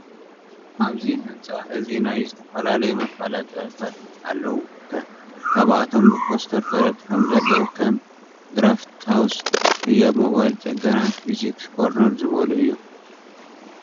ኣብዚ ህንፃ እዚ ናይ ዝተፈላለዩ መፈለጢታት ኣለው ከ። ካብኣቶም ብፖስተር ተለጢፎም ዘለው ከም፣ ድራፍት ሃውስ፣ ህያብ ሞባይል ፅገና፣ ፊዚክስ ኮርነር ዝብሉ ኣለው።